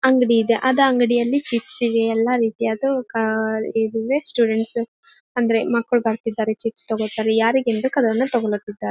ಅಂಗಡಿ ಇದೆ ಅದ್ ಅಂಗಡಿಯಲ್ಲಿ ಚಿಪ್ಸ ಇವೆ ಎಲ್ಲಾ ರೀತಿಯಾದ ಕಾಲ್ ಇದುವೇ ಸ್ಟೂಡೆಂಟ್ಸ್ ಅಂದ್ರೆ ಮಕ್ಕಳು ಬರತ್ತಿದರೆ ಚಿಪ್ಸ್ ತೊಕೊತರೆ ಯಾರಿಗ್ ಏನ್ ಬೇಕ್ ಅದನ್ನು ತೊಗೊಲತ್ತಿದ್ದಾರೆ.